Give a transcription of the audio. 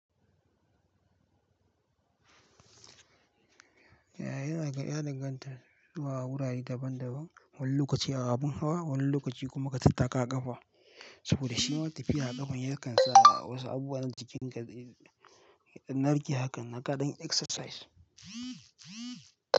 Yana karya dangantar zuwa wurare daban daban, wani lokaci a abun hawa, wani lokaci kuma ka tattaƙa ƙafa. Saboda shi ma tafiya a ƙafa yakan sa wasu abubuwan jikin ka, narke hakan naka ɗin exercise.